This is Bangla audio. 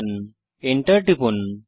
Enter টিপুন